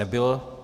Nebylo.